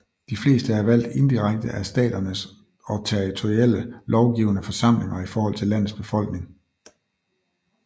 De fleste er valgt indirekte af staternes og territorielle lovgivende forsamlinger i forhold til landets befolkning